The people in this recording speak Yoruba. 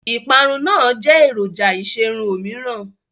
ìparun náà jẹ́ èròjà ìṣerun òmíràn.